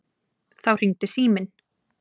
Þá hringdi síminn.